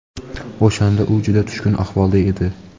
O‘shanda u juda tushkun ahvolda edi;.